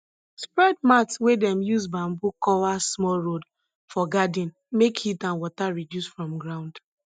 spread mat wey dem use bamboo cover small road for garden make heat and water reduce from ground